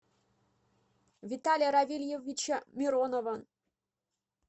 виталия равильевича миронова